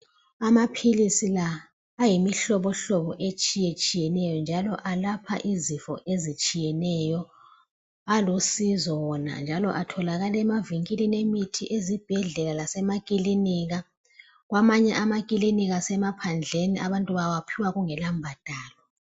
Amapills la ayimihlobo hlobo etshiyeneyo njalo ayelapha isifo ezitshiyeneyo alusizo wona njalo atholakala emavenkilini emithi ezibhedlela mase maclinika kwamanye amaclinika asemaphandleni abantu bawaphiwa kungela mbadalo